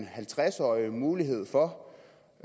halvtreds årige mulighed for